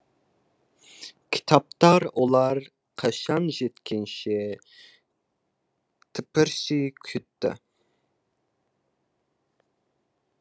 кітаптар олар қашан жеткенше тыпырши күтті